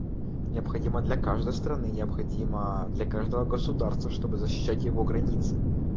необходимо для каждой страны необходимо для каждого государства чтобы защищать его границы